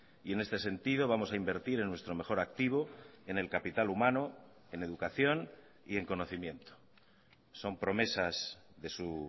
y en este sentido vamos a invertir en nuestro mejor activo en el capital humano en educación y en conocimiento son promesas de su